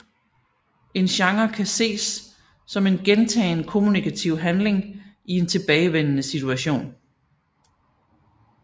En genre kan ses som en gentagen kommunikativ handling i en tilbagevendende situation